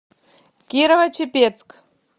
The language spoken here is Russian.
кирово чепецк